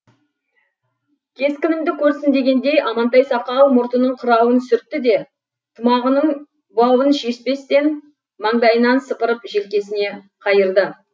кескінімді көрсін дегендей амантай сақал мұртының қырауын сүртті де тымағының бауын шешпестен маңдайынан сыпырып желкесіне қайырды